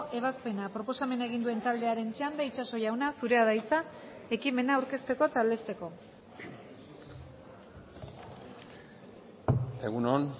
ebazpena proposamena egin duen taldearen txanda itxaso jauna zurea da hitza ekimena aurkezteko eta aldezteko egun on